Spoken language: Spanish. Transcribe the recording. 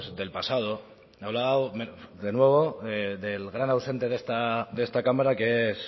del pasado ha hablado de nuevo del gran ausente de esta cámara que es